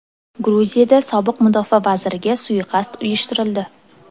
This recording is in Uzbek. Gruziyada sobiq mudofaa vaziriga suiqasd uyushtirildi.